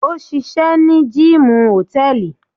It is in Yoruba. òṣìṣẹ́ ní gíìmù hòtẹ́ẹ̀lì.